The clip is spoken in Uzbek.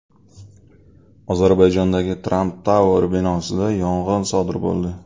Ozarbayjondagi Trump Tower binosida yong‘in sodir bo‘ldi .